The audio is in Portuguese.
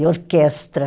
E orquestra.